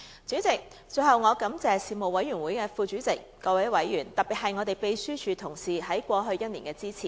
主席，最後我感謝事務委員會副主席、各委員，特別是秘書處同事在過去1年的支持。